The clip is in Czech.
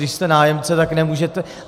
Když jste nájemce, tak nemůžete.